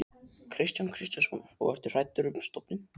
Kristján Kristjánsson: Og ertu hræddur um stofninn?